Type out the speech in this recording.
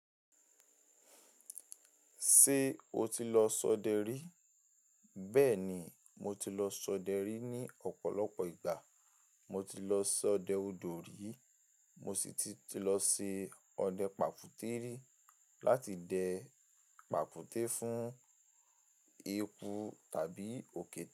Ṣé o ti lọ ṣọdẹ rí? Bẹ́ẹ̀ni, mo ti lọ ṣọdẹ rí ní ọ̀pọ̀lọpọ̀ ìgbà. Mo ti lọ ṣọdẹ odò rí, mo sì ti ti lọ ṣe ọdẹ pàfùútẹ́rì láti dẹ pàfùútẹ́ fún eku tàbí òkété.